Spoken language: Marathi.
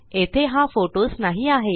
येथे हा फोटोस नाही आहे